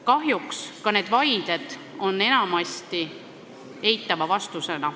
Kahjuks saavad ka need vaided enamasti eitava vastuse.